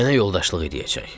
Mənə yoldaşlıq edəcək.